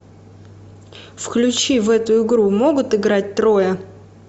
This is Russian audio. включи в эту игру могут играть трое